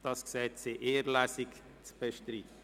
Das Gesetz wird in einer Lesung behandelt.